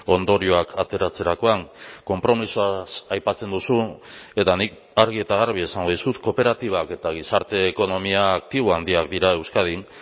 ondorioak ateratzerakoan konpromisoaz aipatzen duzu eta nik argi eta garbi esango dizut kooperatibak eta gizarte ekonomia aktibo handiak dira euskadin